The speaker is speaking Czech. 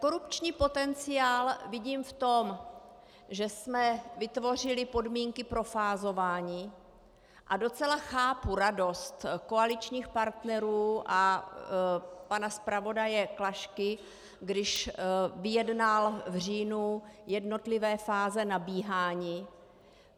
Korupční potenciál vidím v tom, že jsme vytvořili podmínky pro fázování, a docela chápu radost koaličních partnerů a pana zpravodaje Klašky, když vyjednal v říjnu jednotlivé fáze nabíhání.